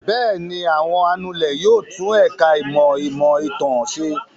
Bẹ́ẹ̀ ni, àwọn anulẹ̀ yóò tún ẹ̀ka-ìmọ̀ ìmọ̀-ìtàn ṣe.